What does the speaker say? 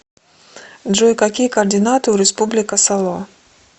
джой какие координаты у республика сало